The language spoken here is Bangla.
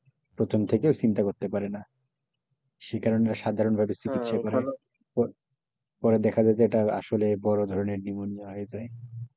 প্রথম থেকে চিন্তা করতে পারে না সেই কারণে সাধারণ ভাবে চিকিৎসা পরে দেখা যায় যে এটা আসলে বড়ো ধরনের নিউমোনিয়া হয়ে যায়,